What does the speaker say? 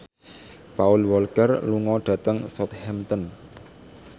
Paul Walker lunga dhateng Southampton